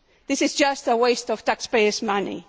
This is just a waste of taxpayers' money.